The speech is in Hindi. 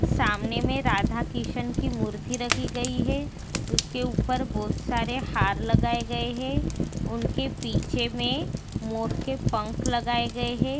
सामने में राधा किशन की मूर्ति रखी गई है। उसके ऊपर बोत सारे हार लगाए गए हैं। उनके पीछे में मोर के पंख लगाए गए हैं।